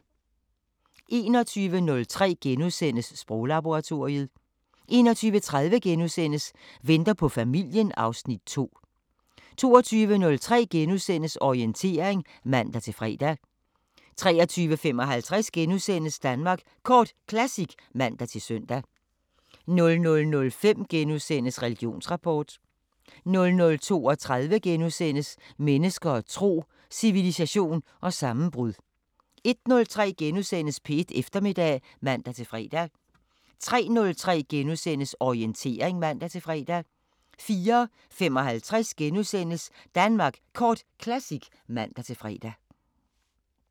21:03: Sproglaboratoriet * 21:30: Venter på familien (Afs. 2)* 22:03: Orientering *(man-fre) 23:55: Danmark Kort Classic *(man-søn) 00:05: Religionsrapport * 00:32: Mennesker og tro: Civilisation og sammenbrud * 01:03: P1 Eftermiddag *(man-fre) 03:03: Orientering *(man-fre) 04:55: Danmark Kort Classic *(man-fre)